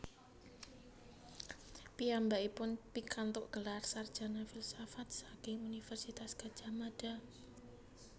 Piyambakipun pikantuk gelar sarjana filsafat saking Universitas Gadjah Mada